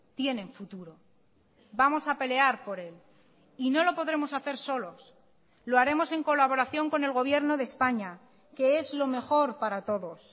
tienen futuro vamos a pelear por él y no lo podremos hacer solos lo haremos en colaboración con el gobierno de españa que es lo mejor para todos